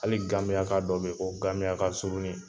Hali gabiyaka dɔ be yen ko gabiyaka surunin .